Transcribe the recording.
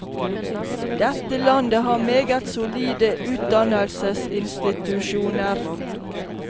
Dette landet har meget solide utdannelsesinstitusjoner.